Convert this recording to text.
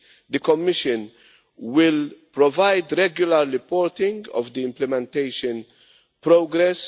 The Commission will provide regular reporting of the implementation progress.